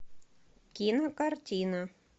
кинокартина